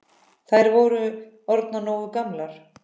Þær væru orðnar nógu gamlar.